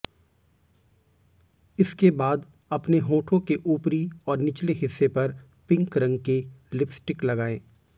इसके बाद अपने होठों के ऊपरी और निचले हिस्से पर पिंक रंग की लिपस्टिक लगाएं